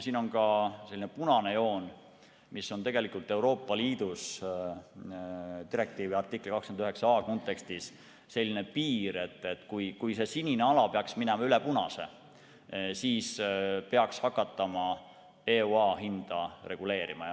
Siin on ka selline punane joon, mis on tegelikult Euroopa Liidu direktiivi artikli 29a kontekstis selline piir, et kui see sinine ala peaks minema üle punase, siis peaks hakatama EUA hinda reguleerima.